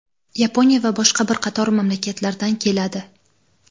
Yaponiya va boshqa bir qator mamlakatlardan keladi.